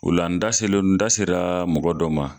O la n da selon da sera mɔgɔ dɔ ma